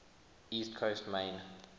east coast maine